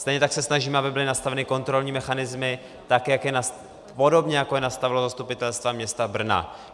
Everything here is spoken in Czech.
Stejně tak se snažíme, aby byly nastaveny kontrolní mechanismy podobně, jako je nastavilo zastupitelstvo města Brna.